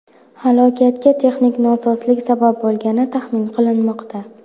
Halokatga texnik nosozlik sabab bo‘lgani taxmin qilinmoqda.